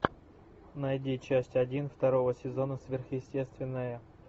найди часть один второго сезона сверхъестественное